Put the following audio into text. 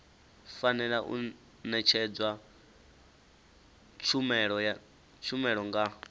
fanela u ṅetshedzwa tshumelo nga